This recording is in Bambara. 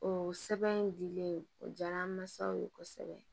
O sɛbɛn in dilen o diyara n masaw ye kosɛbɛ